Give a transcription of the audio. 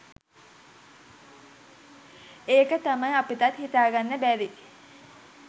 ඒක තමයි අපිටත් හිතා ගන්න බැරි